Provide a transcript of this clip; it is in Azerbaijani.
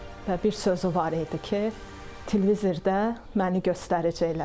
Və bir sözü var idi ki, televizorda məni göstərəcəklər.